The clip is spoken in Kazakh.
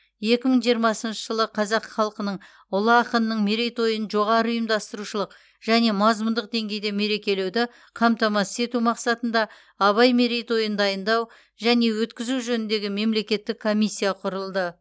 екі мың жиырмасыншы жылы қазақ халқының ұлы ақынының мерейтойын жоғары ұйымдастырушылық және мазмұндық деңгейде мерекелеуді қамтамасыз ету мақсатында абай мерейтойын дайындау және өткізу жөніндегі мемлекеттік комиссия құрылды